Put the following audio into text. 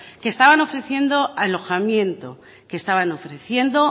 que estaban ofreciendo alojamiento que estaban ofreciendo